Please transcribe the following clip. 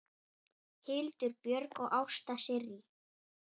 Hildur Björg og Ásta Sirrí.